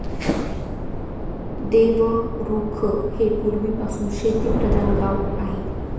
देवरुख हे पूर्वीपासून शेतीप्रधान गाव आहे.